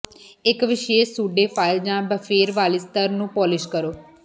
ਇਕ ਵਿਸ਼ੇਸ਼ pseudo file ਜਾਂ ਬਫੇਰ ਵਾਲੀ ਸਤੱਰ ਨੂੰ ਪੋਲਿਸ਼ ਕਰੋ